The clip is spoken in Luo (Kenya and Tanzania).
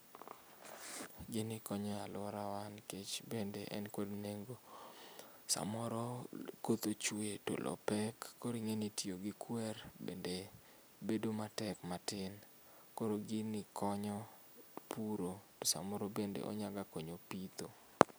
Gini konyo aluorawa nikech bende en kod nengo, samoro koth ochue to loo pek koro ing'eni tiyo gi kwer bende bedo matek matin, koro gini konyo puro samoro bende onyaga konyo pitho.